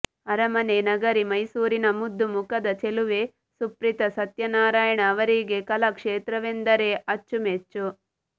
ಅರಮನೆ ನಗರಿ ಮೈಸೂರಿನ ಮುದ್ದು ಮುಖದ ಚೆಲುವೆ ಸುಪ್ರೀತಾ ಸತ್ಯನಾರಾಯಣ ಅವರಿಗೆ ಕಲಾ ಕ್ಷೇತ್ರವೆಂದರೆ ಅಚ್ಚುಮೆಚ್ಚು